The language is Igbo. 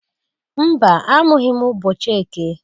Mba! Amụghị m ụbọchị eke.